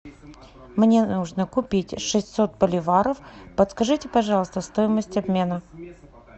мне нужно купить шестьсот боливаров подскажите пожалуйста стоимость обмена